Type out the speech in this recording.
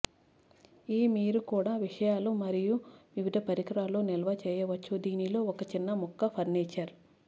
ఈ మీరు కూడా విషయాలు మరియు వివిధ పరికరాలు నిల్వ చేయవచ్చు దీనిలో ఒక చిన్న ముక్క ఫర్నిచర్